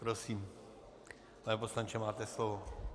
Prosím, pane poslanče, máte slovo.